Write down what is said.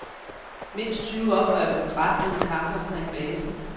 Mindst tyve oprørere blev dræbt under kampe omkring basen.